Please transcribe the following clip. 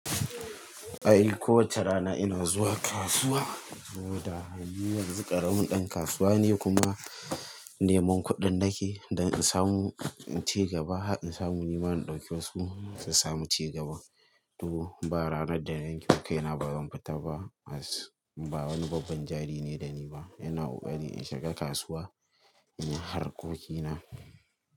Ai kowace rana ina zuwa kasuwa, saboda ni yanzu ƙaramin ɗan kasuwa ne kuma neman kuɗin nake don in samu cigaba, in samu ni ma in ɗauki wasu su samu cigaba. To ba ranar da na yankema kaina bazan fita ba, as ba wani babban jari ne da ni ba. Ina ƙoƙari in shiga kasuwa in yi harkokina.